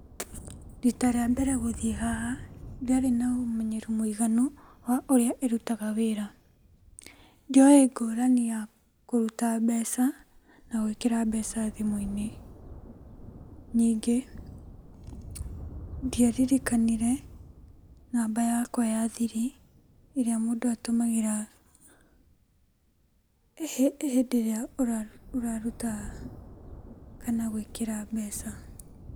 Rita rĩa mbere gũthiĩ haha, ndiarĩ na ũmenyeru mũiganu mũiganu wa ũrĩa ĩrutaga wĩra. Ndioĩ ngũrani ya kũruta mbeca na gwĩkĩra mbeca thimũ-inĩ. Nyingĩ, ndiaririkanire namba yakwa ya thiri, ĩrĩa mũndũ atũmagĩra hĩndĩ ĩrĩa ũraruta kana gwĩkĩra mbeca.